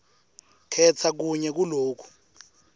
khetsa kunye kuloku